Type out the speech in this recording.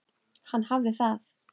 Hann hafði það.